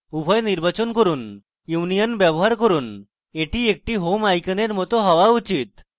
উভয় নির্বাচন করুন union ব্যবহার করুন এটি একটি home আইকনের it হওয়া উচিত